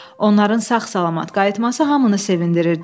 Onların sağ-salamat qayıtması hamını sevindirirdi.